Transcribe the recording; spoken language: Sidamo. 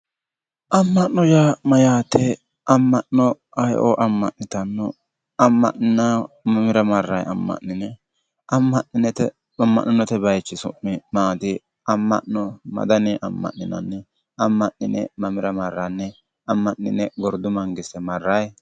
Amma'no yaa mayyaate? amma'no ayeo amma'nitanno? amma'ninayiihu mamira marrayi amma'nine amma'note bayiichi su'mi maati? Amma'no ma daninni amma'ninanni? amma'nine mamira marranni? Amma'nine gordu mangiste marraayi?